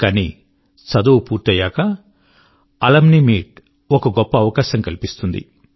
కానీ చదువు పూర్తయ్యాక అలుమ్ని మీట్ ఒక గొప్ప అవకాశం కల్పిస్తుంది